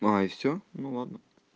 а и всё ну ладно